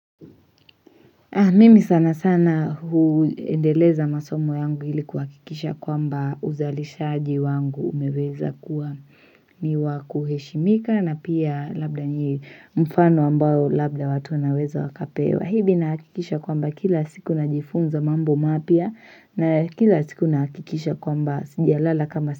Mimi sana sana huendeleza masomo yangu ilikuhakikisha kwamba uzalishaji wangu umeweza kuwa ni wakuheshimika na pia labda ni mfano ambao labda watu wanaweza wakapewa hivi nahakikisha kwamba kila siku najifunza mambo mapya na kila siku nahakikisha kwamba sijalala kama.